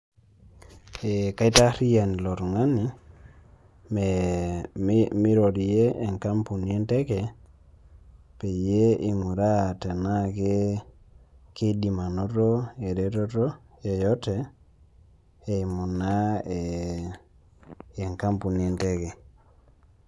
Ee kaitarian ilo tungani me, meirorie enkampuni enteke peyie ing'uraa tenaa ke keidim anoto ereteto yeyote eimu naa ee enkampuni enteke.